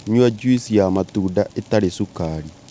Nyua juici ya matunda ĩtarĩ cukari